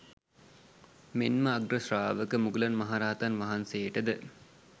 මෙන් ම අග්‍රශ්‍රාවක මුගලන් මහරහතන් වහන්සේට ද